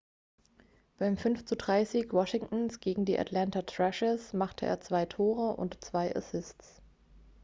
beim 5:3-sieg washingtons gegen die atlanta thrashers machte er 2 tore und 2 assists